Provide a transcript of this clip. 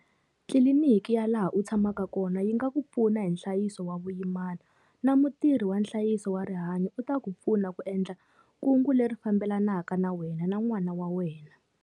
Tliliniki ya laha u tshamaka kona yi nga ku pfuna hi nhlayiso wa vuyimana na mutirhi wa nhlayiso wa rihanyu u ta ku pfuna ku endla kungu leri fambelanaka na wena na n'wana wa wena.